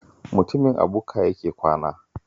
Mutumin a bukka yake kwana